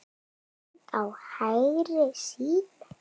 Mynd á hægri síðu.